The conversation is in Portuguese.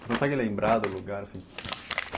Consegue lembrar do lembrar do lugar assim?